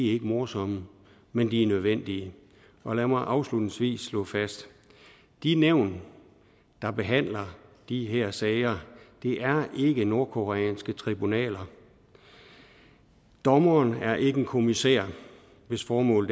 ikke morsomme men de er nødvendige og lad mig afslutningsvis slå fast de nævn der behandler de her sager er ikke nordkoreanske tribunaler dommeren er ikke en kommissær hvis formål